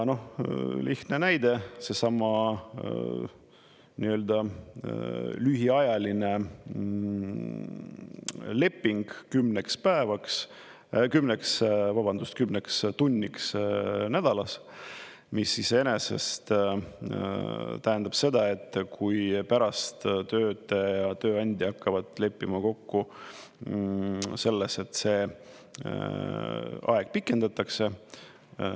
Lihtne näide, seesama nii-öelda lühiajaline leping kümneks päevaks, vabandust, kümneks tunniks nädalas, mis iseenesest tähendab seda, et kui pärast töötaja ja tööandja hakkavad leppima kokku selles, et see aeg pikendatakse ...